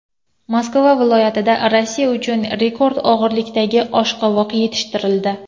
Moskva viloyatida Rossiya uchun rekord og‘irlikdagi oshqovoq yetishtirildi.